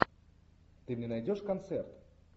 ты мне найдешь концерт